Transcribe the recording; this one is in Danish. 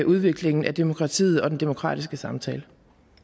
udviklingen af demokratiet og den demokratiske samtale